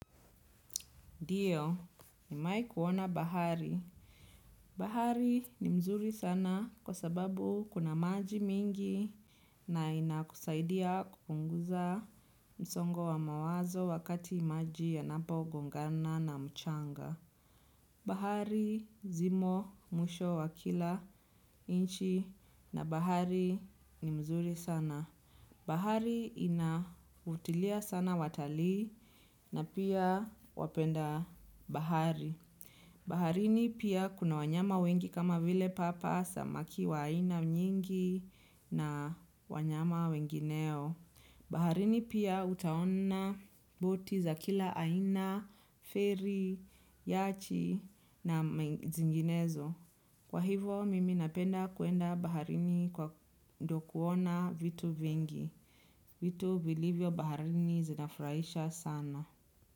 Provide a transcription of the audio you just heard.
Ndiyo, ni mewai kuona bahari. Bahari ni mzuri sana kwa sababu kuna maji mingi na inakusaidia kupunguza msongo wa mawazo wakati maji ya napo gongana na mchanga. Bahari zimo mwisho wa kila inchi na bahari ni mzuri sana. Bahari inavutilia sana watalii na pia wapenda bahari. Baharini pia kuna wanyama wengi kama vile papa samaki wa aina mnyingi na wanyama wengineo. Baharini pia utaona boti za kila aina, feri, yachi na zinginezo. Kwa hivo, mimi napenda kuenda baharini kwa ndo kuona vitu vingi. Vitu vilivyo baharini zinafuraisha sana.